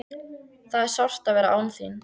Það er sárt að vera án þín.